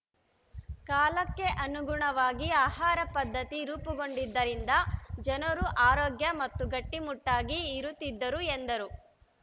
ಕಾಲಕ್ಕೆ ಅನುಗುಣವಾಗಿ ಆಹಾರ ಪದ್ಧತಿ ರೂಪುಗೊಂಡಿದ್ದರಿಂದ ಜನರು ಆರೋಗ್ಯ ಮತ್ತು ಗಟ್ಟಿಮುಟ್ಟಾಗಿ ಇರುತ್ತಿದ್ದರು ಎಂದರು